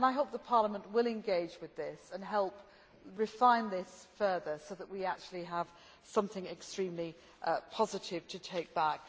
I hope Parliament will engage with this and help refine this further so that we actually have something extremely positive to take back.